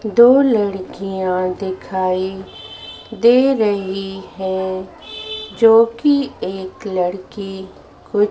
दो लड़कियां दिखाई दे रही हैं जो कि एक लड़की कुछ--